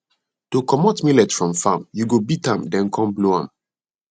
to comot millet from farm you go beat am then come blow am